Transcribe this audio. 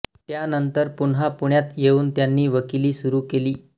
त्यानंतर पुन्हा पुण्यात येऊन त्यांनी वकिली सुरू केली